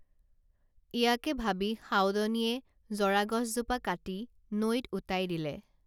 ইয়াকে ভাবি সাউদনীয়ে জৰাগছজোপা কাটি নৈত উটাই দিলে